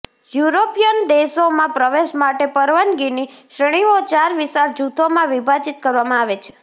European દેશોમાં પ્રવેશ માટે પરવાનગીની શ્રેણીઓ ચાર વિશાળ જૂથોમાં વિભાજિત કરવામાં આવે છે